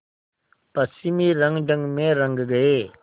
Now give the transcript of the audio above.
पश्चिमी रंगढंग में रंग गए